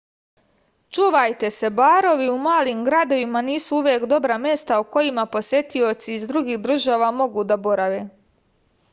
čuvajte se barovi u malim gradovima nisu uvek dobra mesta u kojima posetioci iz drugih država mogu da borave